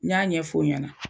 N y'a ɲɛf'o ɲana